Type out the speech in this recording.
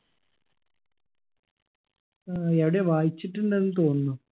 ആ ഏടെയോ വായിച്ചിട്ടുണ്ടെന്ന് തോന്നുന്നു